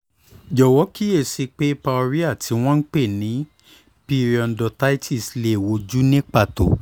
jọ̀wọ́ kíyè sí i pé pyorhea tí wọ́n ń pè ní periodontitis lè wojú ní pàtó